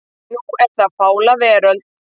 Núna er það Fláa veröld.